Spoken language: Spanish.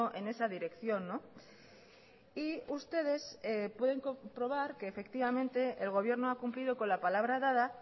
en esa dirección y ustedes pueden comprobar que efectivamente el gobierno ha cumplido con la palabra dada